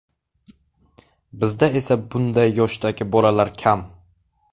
Bizda esa bunday yoshdagi bolalar kam.